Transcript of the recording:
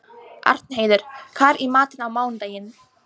Arnheiður, hvað er í matinn á mánudaginn?